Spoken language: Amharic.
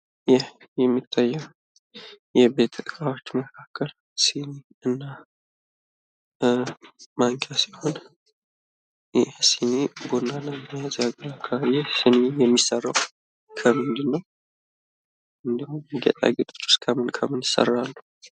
ይህ የሚታየው የቤት እቃዎች መካከል ሲኒ እና ማንኪያ ሲሆን ይህ ሲኒ የሚሰራው ከምንድን ነው? እንዲሁም ጌጣጌጦቹስ ከምን ከምን ይሰራሉ?